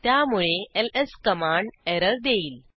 त्यामुळे LS command error देईल